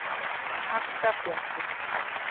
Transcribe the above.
Alltaf bjartsýnn!